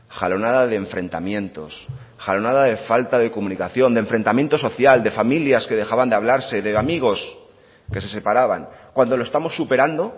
jalonada de enfrentamientos jalonada de falta de comunicación de enfrentamiento social de familias que dejaban de hablarse de amigos que se separaban cuando lo estamos superando